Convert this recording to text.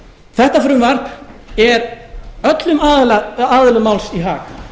þetta frumvarp er öllum aðilum máls í hag